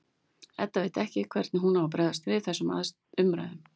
Edda veit ekki hvernig hún á að bregðast við þessum umræðum.